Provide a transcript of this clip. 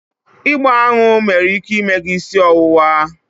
Ịgba aṅụ nwere ike ime gị isi ọwụwa